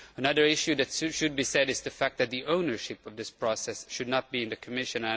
Another issue that should be mentioned is the fact that the ownership of this process should not be in the Commission.